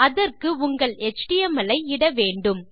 அதற்கு உங்கள் எச்டிஎம்எல் ஐ இட வேண்டும்